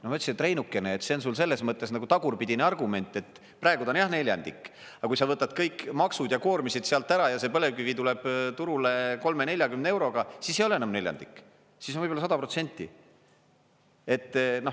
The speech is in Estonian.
No ma ütlesin, et Reinukene, see on sul selles mõttes nagu tagurpidine argument, et praegu ta on jah neljandik, aga kui sa võtad kõik maksud ja koormised sealt ära ja see põlevkivi tuleb turule 30–40 euroga, siis ei ole enam neljandik, siis on võib-olla 100%.